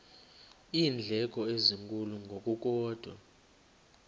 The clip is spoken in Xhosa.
iindleko ezinkulu ngokukodwa